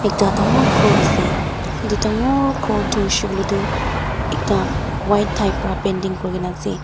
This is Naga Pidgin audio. ekta dangor ghor ase etu dangor ghor toh hoishe koile toh ekta white type para painting kuri kena ase.